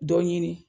Dɔ ɲini